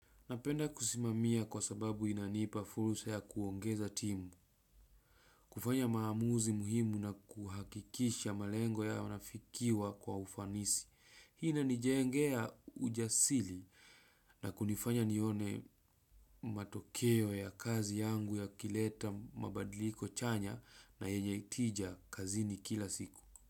Napenda kusimamia kwa sababu inanipa fursa ya kuongeza timu, kufanya maamuzi muhimu na kuhakikisha malengo yanafikiwa kwa ufanisi. Hii ina nijengea ujasiri na kunifanya nione matokeo ya kazi yangu ya kileta mabadiliko chanya na yenye itija kazini kila siku.